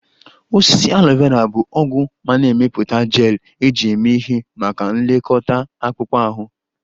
Osisi Aloe Vera bụ ọgwụ ma na-emepụta gel eji eme ihe maka nlekọta akpụkpọ ahụ